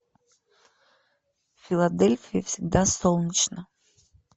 в филадельфии всегда солнечно